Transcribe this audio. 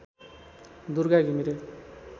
Durga Ghimire